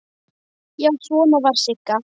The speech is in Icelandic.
Já, svona var Sigga!